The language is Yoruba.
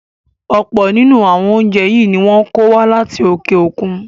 Ọ̀pọ̀ nínú àwọn oúnjẹ yìí ni wọn ń kó wá láti òkè òkun